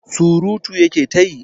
Surutu ya ke ta yi.